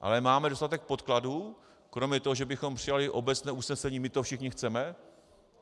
Ale máme dostatek podkladů kromě toho, že bychom přijali obecné usnesení, my to všichni chceme?